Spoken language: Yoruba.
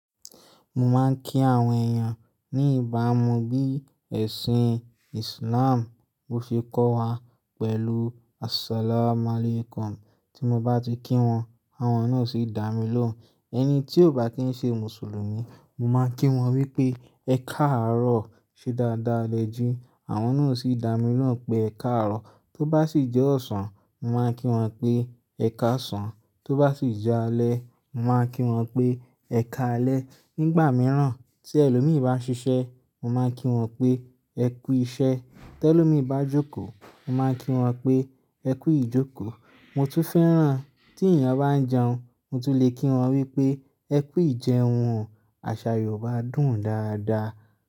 Mo máa ń kí àwọn èèyàn ní ìbámu bí ẹ̀sìn Islam bi o se kọ́ wa pẹ̀lú "As-salamu alaykum". Tí mo bá ti kí wọn, àwọn náà sì dá mi lóhùn. Ẹni tí ò bá kí ń ṣe Mùsùlùmí, mo máa ń kí wọn wípé "Ẹ káàárọ̀" ṣe dáadáa lẹ jí, àwọn náà sì dá mi lóhùn pé "Ẹ káàárọ̀". Tó bá sì jẹ́ ọ̀sán, mo máa ń kí wọn pé "Ẹ káàsán", tó bá sì jẹ́ alẹ́, mo máa ń kí wọn pé "Ẹ káalẹ́". Nígbà mìíràn tí ẹlòmíràn bá ṣiṣẹ́, mo máa ń kí wọn pé "Ẹ kú iṣẹ́". Tẹ lómì bá jókòó, mo máa ń kí wọn pé "Ẹ kú ìjókòó". Mo tún fẹ́ràn tí ènìyàn bá ń jẹun, mo tún lè kí wọn wípé "Ẹ kú ìjẹun". Àṣà Yorùbá dùn dáadáa.